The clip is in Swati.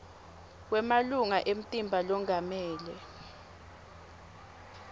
kwemalunga emtimba longamele